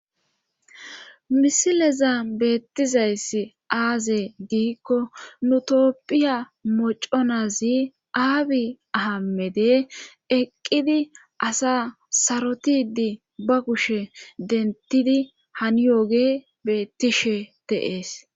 misileza beettizayss aaze giikko nutopphiya moconazi aabi ahamede eqqidi asa sarotidi ba kushe dentidi haniyooge beettishe teees